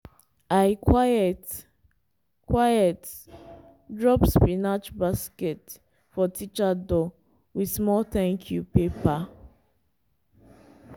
i quiet-quiet drop spinach basket for teacher door with small thank you paper.